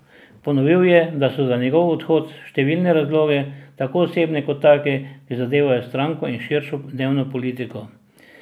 Ponovil je, da so za njegov odhod številni razlogi, tako osebni, kot taki, ki zadevajo stranko in širšo dnevno politiko.